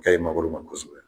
A ka ɲin mangoro ma kosɛbɛ.